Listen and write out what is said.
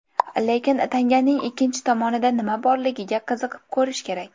Lekin tanganing ikkinchi tomonida nima borligiga qiziqib ko‘rish kerak.